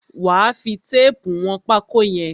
Wà á fi téépù wọn pákó yẹn!